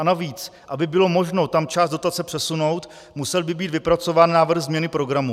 A navíc, aby bylo možno tam část dotace přesunout, musel by být vypracován návrh změny programu.